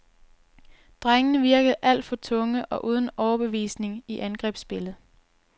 Drengene virkede alt for tunge og uden overbevisning i angrebsspillet.